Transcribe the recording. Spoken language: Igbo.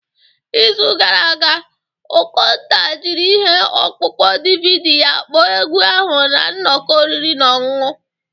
N'izu gara aga, Okonta jiri ihe ọkpụkpọ DVD ya kpọọ egwu ahụ na nnọkọ oriri na ọṅụṅụ